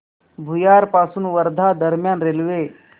भुयार पासून वर्धा दरम्यान रेल्वे